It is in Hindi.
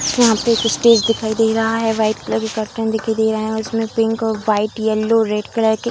यहाँ पे एक स्टेज दिखाई दे रहा है व्हाइट कलर के दिखाई दे रहा है और इसमें पिंक और व्हाइट येलो रेड कलर के --